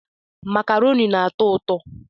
Makaroni na-atọ ụtọ